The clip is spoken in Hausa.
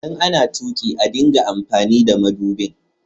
ldan ana tuki a dinga amfani madubin.